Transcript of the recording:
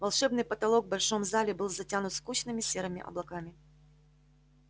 волшебный потолок в большом зале был затянут скучными серыми облаками